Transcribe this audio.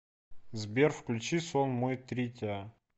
сбер включи сон мой тритиа